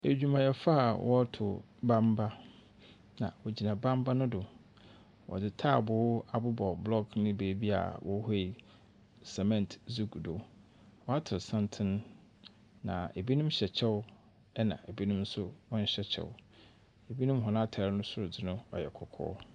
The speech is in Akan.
Edwumayɛfo a wɔroto bamba, na wɔgyina bamba no do. Wɔdze taabow abobɔ block no beebi a wchuie cement dze gu do. Wɔato santsen, na binom hyɛ kyɛw, na binom nso wɔnhyɛ kyɛw. Binom hɔn atar soro dze no yɛ kɔkɔɔ.